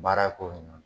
Baara ko in na